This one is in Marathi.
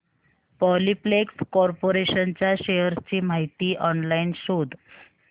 पॉलिप्लेक्स कॉर्पोरेशन च्या शेअर्स ची माहिती ऑनलाइन शोध